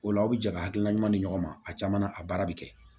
O la aw bɛ jɛ ka hakilina ɲuman di ɲɔgɔn ma a caman na a baara bɛ kɛ